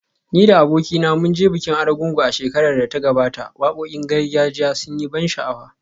Ni da abokina mun je bikin Argungu a shekarar da ta gabata, wakokin gargajiya sun yi ban sha’awa